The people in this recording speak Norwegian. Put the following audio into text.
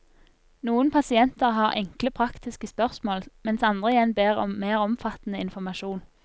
Noen pasienter har enkle praktiske spørsmål, mens andre igjen ber om mer omfattende informasjon.